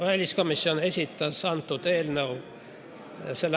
Väliskomisjon esitas eelnõu s.